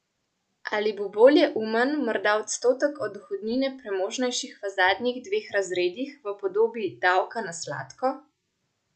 Ali bo bolj umen morda odstotek od dohodnine premožnejših v zadnjih dveh razredih, v podobi davka na sladko?